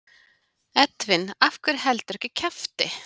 Edwin af hverju heldurðu ekki kjafti?